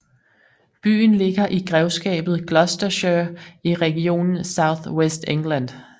Byen ligger i grevskabet Gloucestershire i regionen South West England